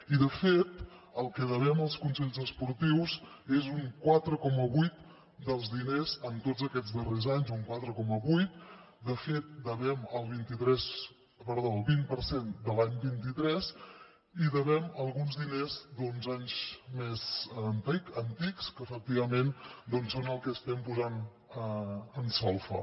i de fet el que devem als consells esportius és un quatre coma vuit dels diners en tots aquests darrers anys un quatre coma vuit de fet devem el vint per cent de l’any vint tres i devem alguns diners d’anys més antics que efectivament són el que estem posant en solfa